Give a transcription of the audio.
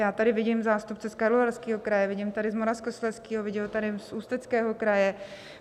Já tady vidím zástupce z Karlovarského kraje, vidím tady z Moravskoslezského, vidím tady z Ústeckého kraje.